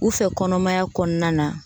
U fɛ kɔnɔmaya kɔnɔna na